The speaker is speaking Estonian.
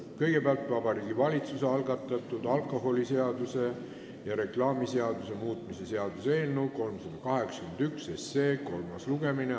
Kõigepealt on Vabariigi Valitsuse algatatud alkoholiseaduse ja reklaamiseaduse muutmise seaduse eelnõu 381 kolmas lugemine.